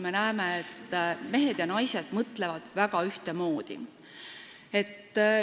Me näeme, et Eestis mõtlevad mehed ja naised väga ühtemoodi.